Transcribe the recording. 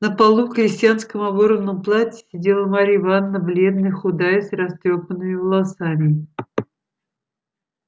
на полу в крестьянском оборванном платье сидела марья ивановна бледная худая с растрёпанными волосами